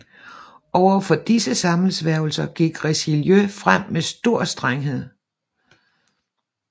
Over for disse sammensværgelser gik Richelieu frem med stor strenghed